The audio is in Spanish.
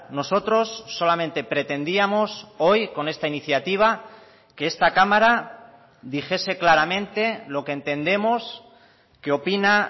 nosotros solamente pretendíamos hoy con esta iniciativa que esta cámara dijese claramente lo que entendemos que opina